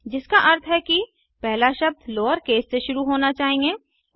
जिसका अर्थ है कि पहला शब्द लोअरकेस से शुरू होना चाहिए